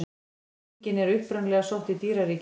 Líkingin er upprunalega sótt í dýraríkið.